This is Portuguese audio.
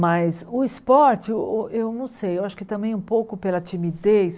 Mas o esporte, o o eu não sei, eu acho que também um pouco pela timidez.